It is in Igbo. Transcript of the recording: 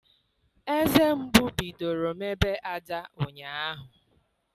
Eze mgbu bidoro mebe Ada ụnyaahụ.